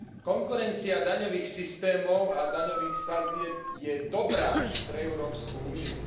Konkurencia daňových systémov a daňových sadzieb je dobrá pre Európsku úniu.